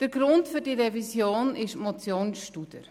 Der Grund für die Revision ist die Motion Studer.